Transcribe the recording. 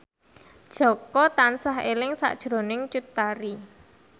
Jaka tansah eling sakjroning Cut Tari